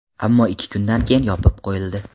Ammo ikki kundan keyin yopib qo‘yildi.